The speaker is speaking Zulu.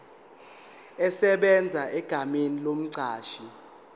esebenza egameni lomqashi